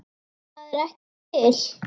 ÞAÐ ER EKKI TIL!!!